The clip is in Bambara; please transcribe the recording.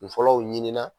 Kun fɔlɔw ɲini na